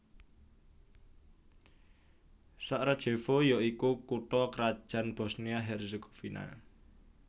Sarajevo ya iku kutha krajan Bosnia Herzegovina